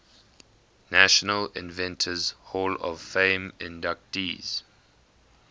national inventors hall of fame inductees